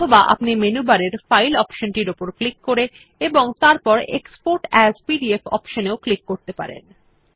অথবা আপনি মেনু বারের ফাইল অপশনটির উপর ক্লিক করে এবং তারপর এক্সপোর্ট এএস পিডিএফ অপশন এও ক্লিক করতে পারেন